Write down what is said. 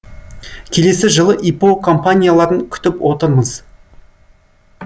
келесі жылы іро компанияларын күтіп отырмыз